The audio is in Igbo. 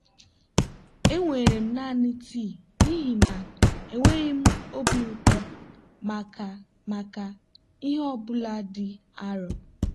enwere m naanị tii n'ihi na enweghị m obi ụtọ maka maka ihe ọ bụla dị arọ.